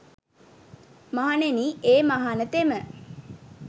මහණෙනි ඒ මහණතෙම